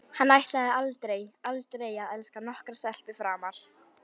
Hann ætlaði aldrei, aldrei að elska nokkra stelpu framar.